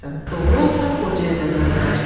Doğru olsa, qocaya cəza verərsən.